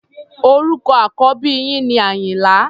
Orúkọ àkọ́bí yín ni Àyìnlá.